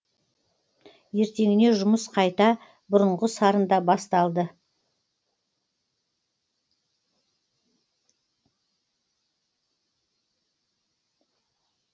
ертеңіне жұмыс қайта бұрынғы сарында басталды